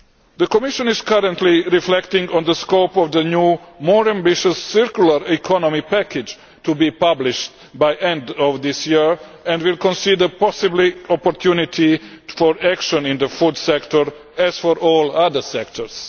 The Commission is currently reflecting on the scope of the new, more ambitious circular economy package to be published by the end of this year, and will consider possible opportunities for action in the food sector as for all other sectors.